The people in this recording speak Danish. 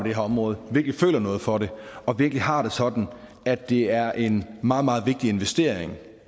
her område virkelig føler noget for det og virkelig har det sådan at det er en meget meget vigtig investering